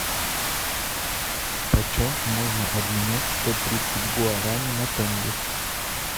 почем можно обменять сто тридцать гуарани на тенге